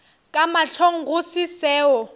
ka mahlong go se seo